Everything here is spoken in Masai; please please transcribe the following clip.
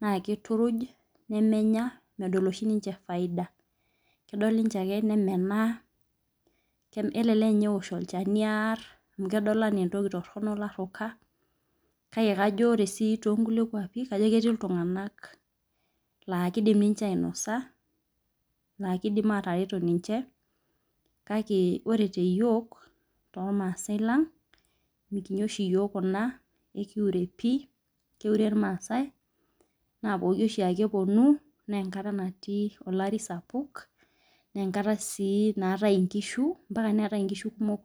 nakituruj menya lishi ninche faida kelel eear ochani aar amu kedol ana entoki toronok laruka kake ore tonkulie kwapi ano ketii ltunganak ka kidim ninche ainosa nakidim atareto ninche kake ore teyiok tormaasai lang mikinya yiok kuna keure irmaasai na pooki oshiake peponu na enkata nati olari sapuk na enkata naatai nkishu kumok.